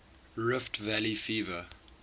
rift valley fever